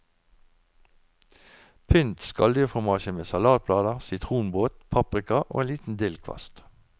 Pynt skalldyrfromasjen med salatblader, sitronbåt, paprika og en liten dillkvast.